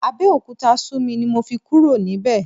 Abẹ́òkúta sú mi ni mo fi kúrò níbẹ̀.